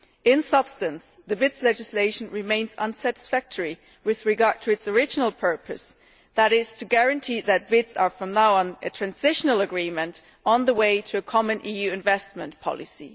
In substance the BITs legislation remains unsatisfactory with regard to its original purpose, that is to guarantee that BITs are from now on a transitional agreement on the way to a common EU investment policy.